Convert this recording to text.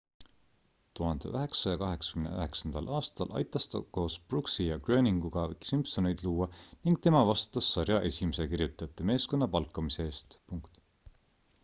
1989 aastal aitas ta koos brooksi ja groeninguga simpsoneid luua ning tema vastutas sarja esimese kirjutajate meeskonna palkamise eest